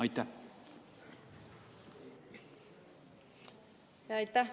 Aitäh!